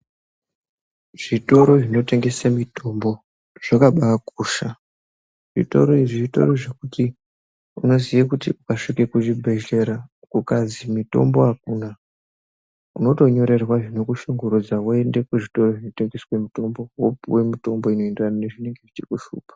Zvitoro zvinotengese mutombo zvakabaakosha zvitoro izvi zvitoro zvekuti unoziye kuti ukasvike kuzvibhehleya ukazi mitombo akuna unotonyorerwa zvinokushungurudza woende kuzvitoro zvinotengeswe mutombo wopuwe mitombo inoenderane nezvinenge zvechikushupa.